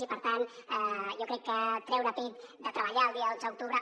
i per tant jo crec que treure pit de treballar el dia dotze d’octubre